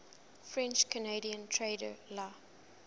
french canadian trader la